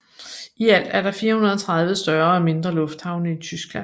I alt er der 430 større og mindre lufthavne i Tyskland